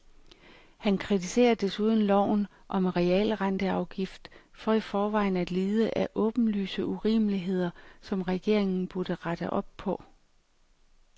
Han kritiserer desuden loven om realrenteafgift for i forvejen at lide af åbenlyse urimeligheder, som regeringen burde rette op på.